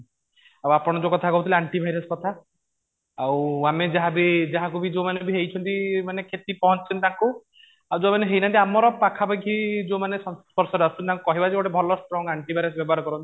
ଆଉ ଆପଣ ଯୋଉ କହୁଥିଲେ ଆଣ୍ଟି ଭାଇରସ କଥା ଆଉ ଆମେ ଯାହା ବି ଯାହାକୁ ବି ଯୋଉ ମାନେ ବି ହେଇଛନ୍ତି ମାନେ କ୍ଷତି ପହଞ୍ଚିଛି ତାଙ୍କୁ ଆଉ ଯୋଉ ମାନେ ହେଇନାହାନ୍ତି ଆମର ପାଖା ପାଖି ଯୋଉ ମାନେ ସଂସ୍ପର୍ଶ ରେ ଅଛନ୍ତି ତାଙ୍କୁ କହିବା ଯେ ଗୋଟେ ଭଲ strong ଆଣ୍ଟି ଭାଇରସ ବ୍ୟବହାର କରନ୍ତୁ